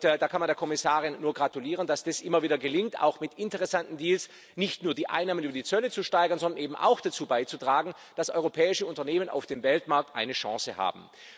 Da kann man der Kommissarin nur gratulieren, dass das immer wieder gelingt, auch mit interessanten Deals nicht nur die Einnahmen über die Zölle zu steigern, sondern eben auch dazu beizutragen, dass europäische Unternehmen auf dem Weltmarkt eine Chance haben.